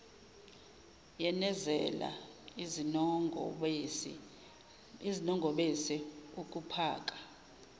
yenezela izinongobese ukuphaka